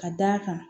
Ka d'a kan